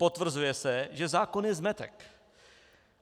Potvrzuje se, že zákon je zmetek.